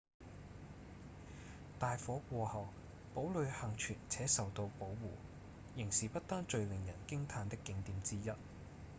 大火過後堡壘倖存且受到保護仍是不丹最令人驚嘆的景點之一